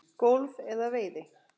golfi eða veiði.